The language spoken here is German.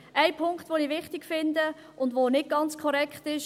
Ein Punkt, den ich wichtig finde, und der nicht ganz korrekt ist: